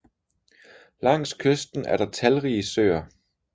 Langs kysten er der talrige søer